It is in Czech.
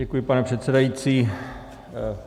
Děkuji, pane předsedající.